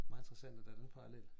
Meget interessant at der er den parallel